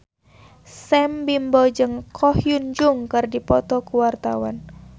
Sam Bimbo jeung Ko Hyun Jung keur dipoto ku wartawan